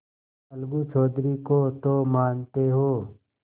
अलगू चौधरी को तो मानते हो